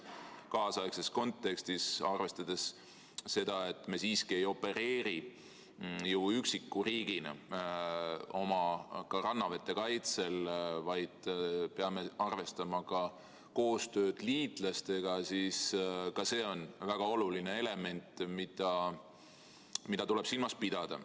Kaasaegses kontekstis, arvestades seda, et me siiski ei opereeri ju üksiku riigina oma rannavete kaitsel, vaid peame arvestama ka koostööd liitlastega, on ka see väga oluline element, mida tuleb silmas pidada.